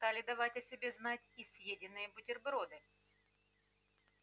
стали давать о себе знать и съеденные бутерброды